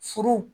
Furu